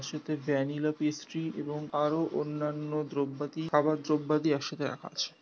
তার সাথে vanilla pastry এবং আরোও অন্যান্য দ্রব্যদি খাবার দ্রব্যাদি একসাথে রাখা আছে।